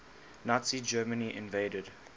nazi germany invaded